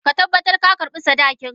Ka tabbata ka karba sadakinka!